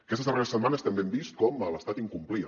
aquestes darreres setmanes també hem vist com l’estat incomplia